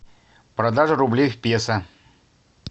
продажа рублей в песо